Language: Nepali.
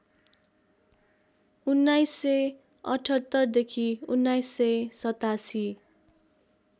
१९७८ देखि १९८७